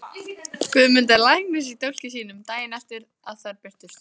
Guðmundar læknis í dálki sínum, daginn eftir að þær birtust.